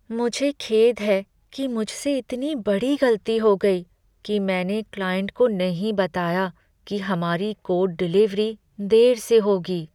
मुझे खेद है कि मुझसे इतनी बड़ी गलती हो गई कि मैंने क्लाइंट को नहीं बताया कि हमारी कोड डिलीवरी देर से होगी।